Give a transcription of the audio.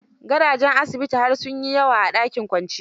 Gadajen asibiti har sun yi yawa a dakin kwanciya.